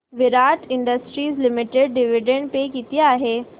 विराट industries limited dividend pay किती आहे